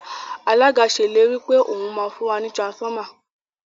Alága ṣe ìlérí pé òún má fún wá ní transformer.